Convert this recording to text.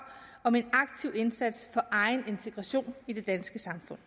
om en aktiv indsats for egen integration i det danske samfund